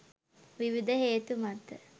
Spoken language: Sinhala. විවිධ හේතු මත